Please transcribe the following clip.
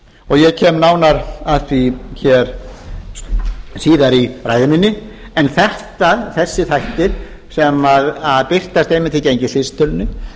og ég kem nánar að því hér síðar í ræðu minni en þessir þættir sem birtast einmitt í gengisvísitölunni